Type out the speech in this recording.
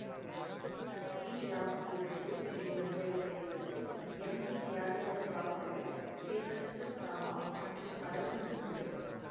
we Rao இயக்கத்தில் வெளிவந்த இத்திரைப்படத்தில் எம் கே தியாகராஜ பாகவதர் சேர்களத்தூர் சாமா மற்றும் பலரும் நடித்துள்ளனர்